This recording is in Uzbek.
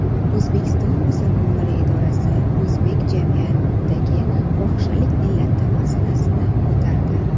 O‘zbekiston musulmonlari idorasi o‘zbek jamiyatidagi fohishalik illati masalasini ko‘tardi.